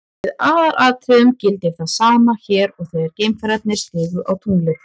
Í aðalatriðum gildir það sama hér og þegar geimfararnir stigu á tunglið.